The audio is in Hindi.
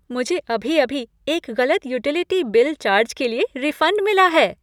मुझे अभी अभी एक गलत युटिलिटी बिल चार्ज के लिए रिफंड मिला है।